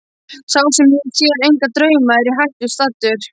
Sá sem á sér enga drauma er í hættu staddur.